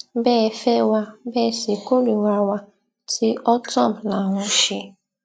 bẹ ẹ fẹ wá bẹ ẹ sì kórìíra wa tí ortom là ń ṣe